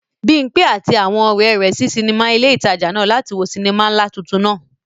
Bimpe àti àwọn ọ̀rẹ́ rẹ̀ sí sinimá ilé ìtajà náà láti wo sinimá ńlá tuntun náà.